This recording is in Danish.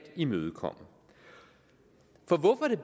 imødekomme for hvorfor er